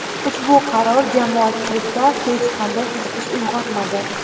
Ushbu qaror jamoatchilikda hech qanday qiziqish uyg‘otmadi.